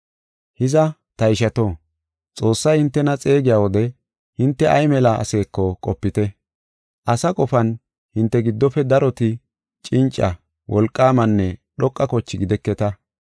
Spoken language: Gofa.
Hiza, ta ishato, Xoossay hintena xeegiya wode hinte ay mela aseeko qopite. Asa qofan, hinte giddofe daroti cinca, wolqaamanne dhoqa koche gideketa.